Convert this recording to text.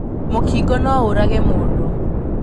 Mũkingo no ũrage mũndũ.